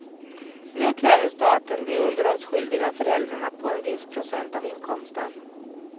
Nu kräver staten de underhållsskyldiga föräldrarna på en viss procent av inkomsten.